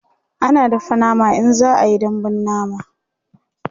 ana dafa nama in za'a Yi dambun nama